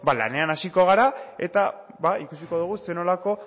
lanean hasiko gara eta ikusiko dugu zer nolako